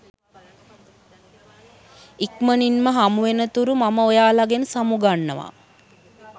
ඉක්මණින්ම හමුවෙනතුරු මම ඔයාලගෙන් සමු ගන්නවා